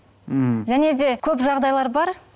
м және де көп жағдайлар бар